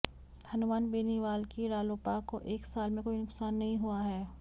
हनुमान बेनीवाल की रालोपा को एक साल में कोई नुकसान नहीं हुआ है